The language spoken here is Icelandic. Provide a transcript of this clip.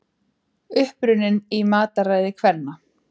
Uppruninn í mataræði kvenna